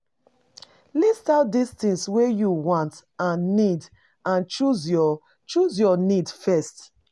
List out di things wey you want and need and choose your choose your needs first